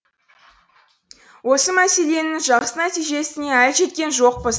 осы мәселенің жақсы нәтижесіне әлі жеткен жоқпыз